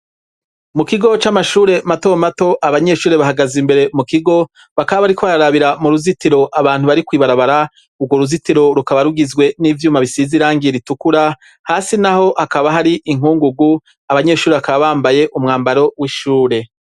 Mu kigo c'amashure matomato abanyeshuri bahagaze imbere mu kigo; bakaba bariko barabira mu ruzitiro abantu bari kw'ibarabara. Urwo ruzitiro rukaba rugizwe n'ivyuma bisize irangi ritukura; hasi naho hakaba hari inkungugu. Abanyeshuri bakaba bambaye umwambaro w'ishure.